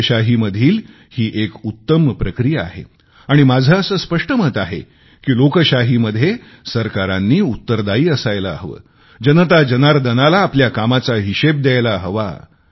लोकशाहीमधील ही एक उत्तम प्रक्रिया आहे आणि माझे असे स्पष्ट मत आहे की लोकशाहीमध्ये सरकारांनी उत्तरदायी असायला हवे जनताजनार्दनाला आपल्या कामाचा हिशेब द्यायला हवा